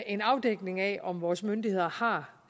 en afdækning af om vores myndigheder har